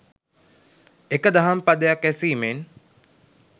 එක දහම් පදයක් ඇසීමෙන්